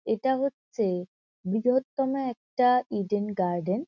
এটা হচ্ছে বৃহত্তম একটা ইডেন গার্ডেন ।